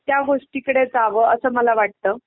त्या गोष्टीकडे जावं असं मला वाटतं.